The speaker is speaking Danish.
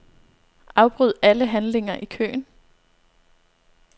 Afbryd alle handlinger i køen.